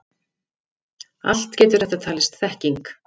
Allt getur þetta talist þekking.